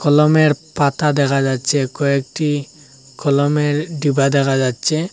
কলমের পাতা দেখা যাচ্ছে কয়েকটি কলমের ডিব্বা দেখা যাচ্ছে।